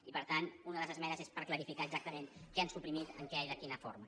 i per tant una de les esmenes és per clarificar exactament què han suprimit en què i de quina forma